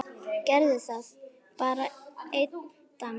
Gerðu það, bara einn dans.